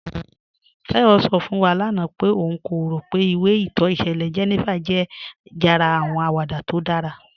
Táyọ̀ sọ̀ fún wà lána pé ọ̀n kò rọ̀ pé ìwé ìtọ́ ìṣẹ̀lẹ̀ 'Jenifa' jẹ́ jàrá àwọn àwàdà tó dára.